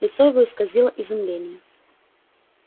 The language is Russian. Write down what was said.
лицо его исказило изумление